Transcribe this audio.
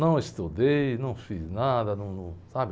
Não estudei, não fiz nada, num, num sabe?